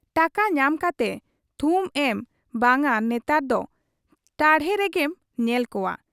ᱴᱟᱠᱟ ᱧᱟᱢ ᱠᱟᱛᱮ ᱛᱷᱩᱢ ᱮᱢ ᱵᱟᱝᱜᱟ ᱱᱮᱛᱟᱨ ᱫᱚ ᱴᱟᱶᱦᱮ ᱨᱮᱜᱮᱢ ᱧᱮᱞ ᱠᱚᱣᱟ ᱾